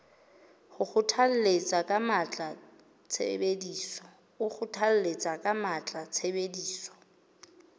o kgothalletsa ka matla tshebediso